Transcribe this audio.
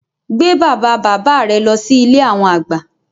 Gbé bàbá bàbá rẹ lọ sí Ilé àwọn àgbà